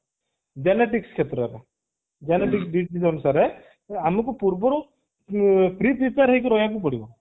genetics କ୍ଷେତ୍ରରେ genetics ଅନୁଶାରେ ତ ଆମକୁ ପୂର୍ବରୁ pre prepare ହେଇକି ରହିବାକୁ ପଡିବ